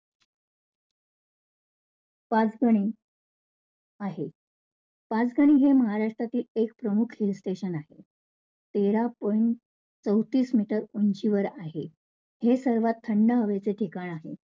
पाचगणी आहे, पाचगणी हे महाराष्ट्रातील एक प्रमुख hill station आहे. तेरा point चवतीस meter उंचीवर आहे. हे सर्वात थंड हवेचे ठिकाण आहे.